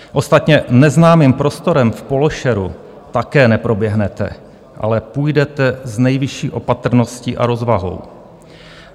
Ostatně neznámým prostorem v pološeru také neproběhnete, ale půjdete s nejvyšší opatrností a rozvahou.